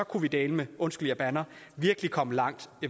kunne vi dæleme undskyld jeg bander virkelig komme langt